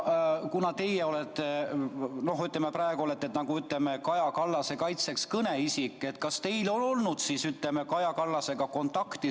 Kuna teie olete praegu, ütleme, Kaja Kallase kaitseks kõneisik, siis küsin, kas teil on olnud Kaja Kallasega kontakti.